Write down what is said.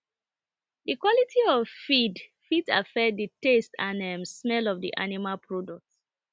the quality of feed fit affect the taste and um smell of the animal product